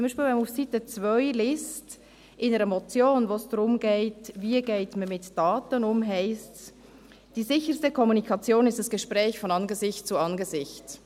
Zum Beispiel, wenn man auf Seite 2 liest, zu einer Motion, in der es darum geht, wie man mit Daten umgeht, heisst es: «Die sicherste Kommunikation ist das Gespräch von Angesicht zu Angesicht.